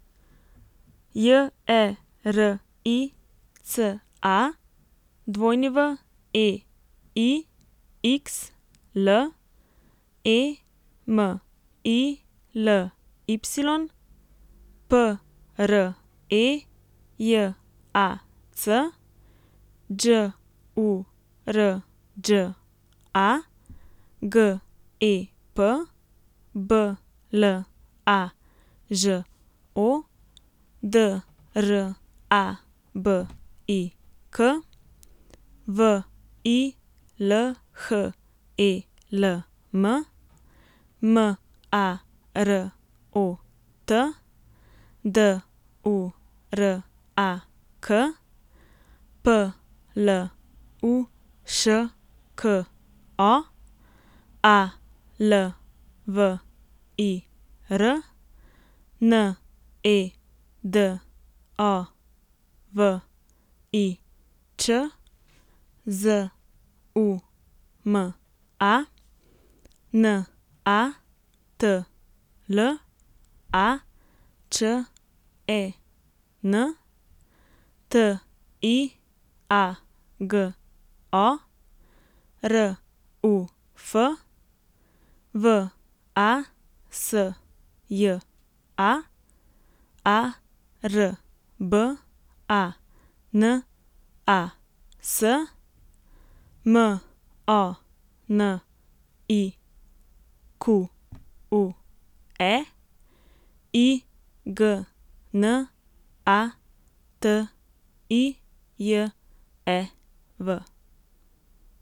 J E R I C A, W E I X L; E M I L Y, P R E J A C; Đ U R Đ A, G E P; B L A Ž O, D R A B I K; V I L H E L M, M A R O T; D U R A K, P L U Š K O; A L V I R, N E D O V I Ć; Z U M A, N A T L A Č E N; T I A G O, R U F; V A S J A, A R B A N A S; M O N I Q U E, I G N A T I J E V.